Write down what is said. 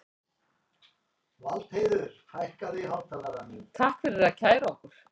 Takk fyrir að kæra okkur